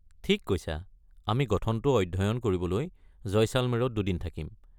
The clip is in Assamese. ঠিক কৈছা! আমি গঠনটো অধ্যয়ন কৰিবলৈ জয়শালমেৰত দুদিন থাকিম।